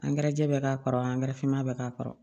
Angɛrɛ jɛɛ bɛ k'a kɔrɔ angɛrɛ finman bɛ k'a kɔrɔ